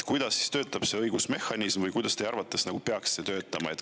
Kuidas töötab see õigusmehhanism või kuidas see teie arvates peaks töötama?